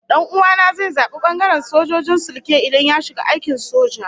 Dan'uwa na zai zabi bangaren sojojin sulke idan ya shiga aikin soja